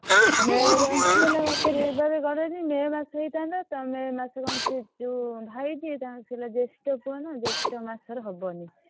ଆଉ May ରୁ ଘୁନଚି ଗଲେ ଆଉ କେବେ ହବ? May ମାସ ହେଇଥାନ୍ତ ତମେ ଏ ମାସେ ସେ ଯୋଉ ଭାଇ ଯିଏ ତାଂକ ର ପୁଅ ଜେଷ୍ଠ ପୁଅ ନା ଜେଷ୍ଠ ମାସ ରେ ହବନି।